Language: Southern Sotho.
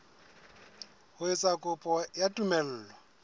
ho etsa kopo ya tumello